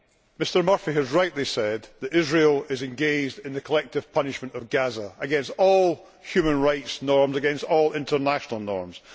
Mr Murphy has rightly said that Israel is engaged in the collective punishment of Gaza, against all human rights norms, against all international norms.